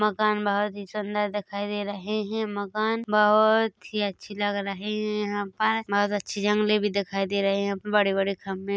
मकान बहुत ही सुंदर दिखाई दे रहे हैं मकान बहुत ही अच्छे लग रहे है यहाँ पर बहुत अच्छे जंगले भी दिखाई दे रहे है बड़े - बड़े खंभे --